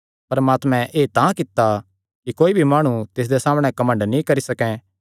परमात्मे एह़ तां कित्ता कि कोई भी माणु तिसदे सामणै घमंड नीं करी सकैं